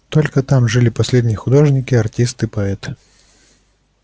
только там жили последние художники артисты поэты